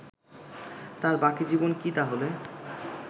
তার বাকি জীবন কি তাহলে